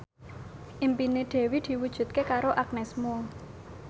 impine Dewi diwujudke karo Agnes Mo